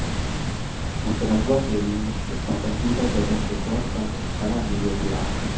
متنوع کے لئے ایک پسندیدہ جگہ کے طور پر ایک بڑا نیلے سوراخ